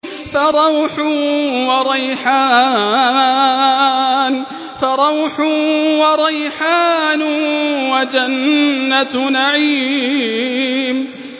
فَرَوْحٌ وَرَيْحَانٌ وَجَنَّتُ نَعِيمٍ